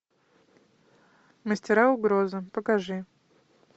мастера угрозы покажи